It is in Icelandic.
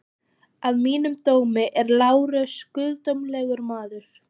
Að mínum dómi er Lárus guðdómlegur maður.